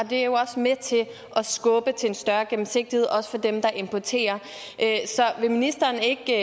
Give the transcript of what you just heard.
det er jo også med til at skubbe til en større gennemsigtighed også for dem der importerer så vil ministeren ikke